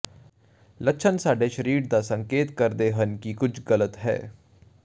ਲੱਛਣ ਸਾਡੇ ਸਰੀਰ ਦਾ ਸੰਕੇਤ ਕਰਦੇ ਹਨ ਕਿ ਕੁਝ ਗਲਤ ਹੈ